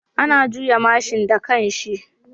Ana juya mashin da kanshi